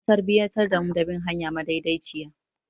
An tarbiyantar da mu da bin hanya madaidaiciya.